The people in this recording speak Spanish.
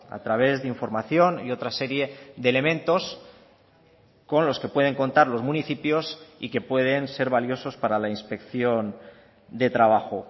a través de información y otra serie de elementos con los que pueden contar los municipios y que pueden ser valiosos para la inspección de trabajo